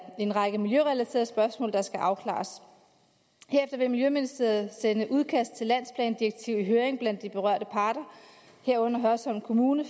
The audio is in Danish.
en række miljørelaterede spørgsmål der skal afklares herefter vil miljøministeriet sende udkastet til landsplandirektivet i høring blandt de berørte parter herunder hørsholm kommune